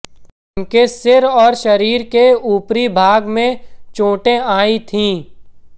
उनके सिर और शरीर के ऊपरी भाग में चोटें आई थीं